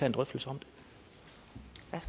en drøftelse